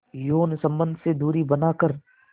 यौन संबंध से दूरी बनाकर